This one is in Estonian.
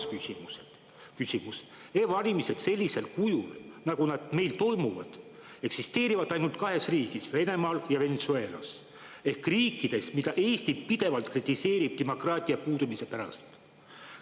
Ja kolmas küsimus: e-valimised sellisel kujul, nagu nad meil toimuvad, eksisteerivad ainult kahes riigis: Venemaal ja Venezuelas ehk riikides, mida Eesti pidevalt kritiseerib demokraatia puudumise pärast.